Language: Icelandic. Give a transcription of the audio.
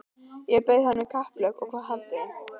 Ég bauð honum í kapphlaup og hvað haldið þið?